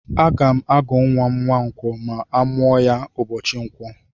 Aga m agụ nwa m Nwankwó ma a mụọ ya ụbọchị ǹkwọ.